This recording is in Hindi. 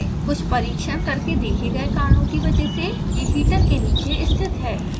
कुछ परीक्षण करके देखे गए कारणों की वजह से यह हीटर के नीचे स्थित है